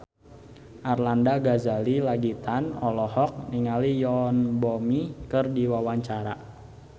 Arlanda Ghazali Langitan olohok ningali Yoon Bomi keur diwawancara